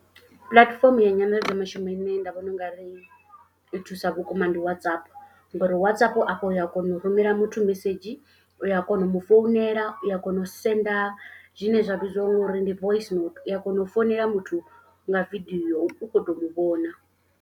Platform ya nyanḓadzo mishumo ine nda vhona u nga ri i thusa vhukuma ndi WhatsApp. Ngori WhatsApp afho u ya kona u rumela muthu mesedzhi, u a kona u mu founela, u a kona u senda zwine zwa vhidziwa ngori ndi voisinouthu. U a kona u founela muthu nga video u khou to mu vhona.